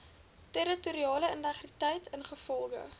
territoriale integriteit ingevolge